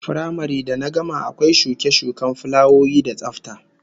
Firamare da na gama akwai shuke-shuken fulawoyi da tsafta